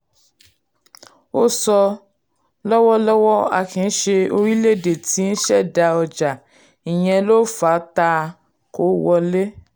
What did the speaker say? ó ó sọ: lọ́wọ́lọ́wọ́ a kìí ṣe orílẹ̀ èdè tí nṣẹ̀dá ọjà ìyẹn ló fà á táa kòwòlẹ̀.